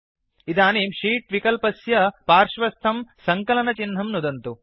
इदानीं शीत् विक्ल्पस्य पार्श्वस्थं सङ्कलनचिह्नं नुदन्तु